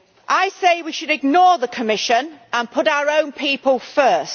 I say we should ignore the Commission and put our own people first.